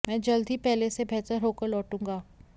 मैं जल्द ही पहले से बेहतर होकर लौटूंगा